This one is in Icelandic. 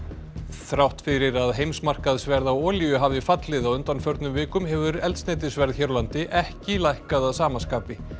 þrátt fyrir að heimsmarkaðsverð á olíu hafi fallið á undanförnum vikum hefur eldsneytisverð hér á landi ekki lækkað að sama skapi